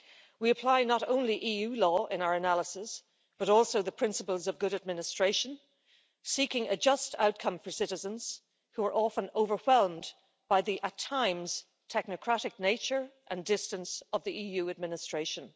We apply not only EU law in our analysis, but also the principles of good administration, seeking a just outcome for citizens who are often overwhelmed by the at times technocratic nature and distance of the EU administration.